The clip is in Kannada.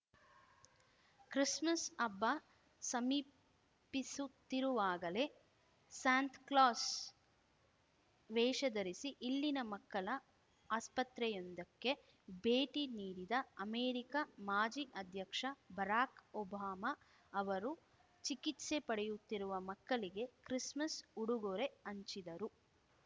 ಕ್ರಿಸ್ಮಸ್‌ ಹಬ್ಬ ಸಮೀಪಿಸುತ್ತಿರುವಾಗಲೇ ಸಾಂತ್ ಕ್ಲಾಸ್‌ ವೇಷ ಧರಿಸಿ ಇಲ್ಲಿನ ಮಕ್ಕಳ ಆಸ್ಪತ್ರೆಯೊಂದಕ್ಕೆ ಭೇಟಿ ನೀಡಿದ ಅಮೆರಿಕ ಮಾಜಿ ಅಧ್ಯಕ್ಷ ಬರಾಕ್‌ ಒಬಾಮ ಅವರು ಚಿಕಿತ್ಸೆ ಪಡೆಯುತ್ತಿರುವ ಮಕ್ಕಳಿಗೆ ಕ್ರಿಸ್‌ಮಸ್‌ ಉಡುಗೊರೆ ಹಂಚಿದರು